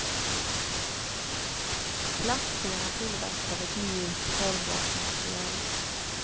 Plastskena tillverkad av ett mjukt, formbart material.